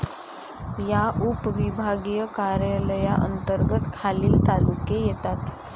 या उपविभागीय कार्यालया अंतर्गत खालील तालुके येतात.